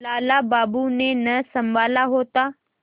लाला बाबू ने न सँभाला होता